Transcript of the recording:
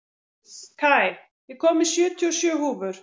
Kai, ég kom með sjötíu og sjö húfur!